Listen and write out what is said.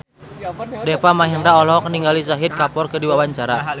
Deva Mahendra olohok ningali Shahid Kapoor keur diwawancara